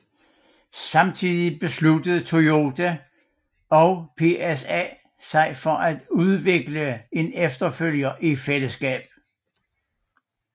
Samtidig besluttede Toyota og PSA sig for at udvikle en efterfølger i fællesskab